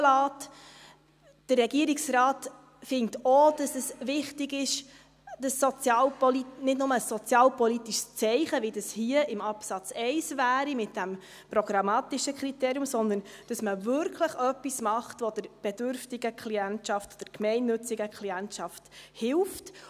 Der Regierungsrat findet auch, dass es wichtig ist, dass es nicht nur ein sozialpolitisches Zeichen ist, so wie es hier, in Absatz 1, wäre, mit diesem programmatischen Kriterium, sondern dass man wirklich etwas tut, das der bedürftigen Klientschaft, der gemeinnützigen Klientschaft hilft.